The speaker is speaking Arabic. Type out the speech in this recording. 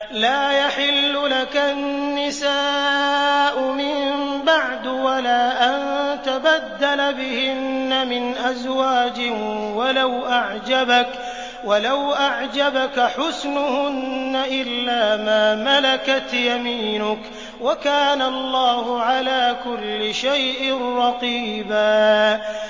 لَّا يَحِلُّ لَكَ النِّسَاءُ مِن بَعْدُ وَلَا أَن تَبَدَّلَ بِهِنَّ مِنْ أَزْوَاجٍ وَلَوْ أَعْجَبَكَ حُسْنُهُنَّ إِلَّا مَا مَلَكَتْ يَمِينُكَ ۗ وَكَانَ اللَّهُ عَلَىٰ كُلِّ شَيْءٍ رَّقِيبًا